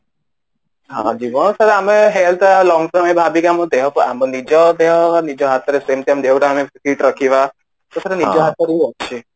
ହଁ ଆମେ health long term ଭାବିକି ଆମ ଦେହ ନିଜ ଦେହ ନିଜ ହାତରେ ଦେହଟା କେମିତି fit ରଖିବା ତ ସେଇଟା ନିଜ ହାତରେ ହିଁ ଅଛି